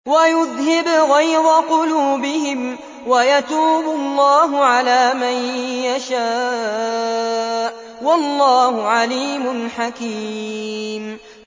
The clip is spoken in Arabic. وَيُذْهِبْ غَيْظَ قُلُوبِهِمْ ۗ وَيَتُوبُ اللَّهُ عَلَىٰ مَن يَشَاءُ ۗ وَاللَّهُ عَلِيمٌ حَكِيمٌ